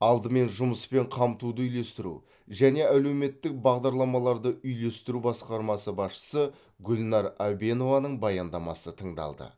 алдымен жұмыспен қамтуды үйлестіру және әлеуметтік бағдарламаларды үйлестіру басқармасы басшысы гүлнар әбенованың баяндамасы тыңдалды